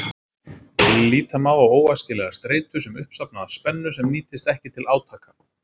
Líta má á óæskilega streitu sem uppsafnaða spennu sem nýtist ekki til átaka.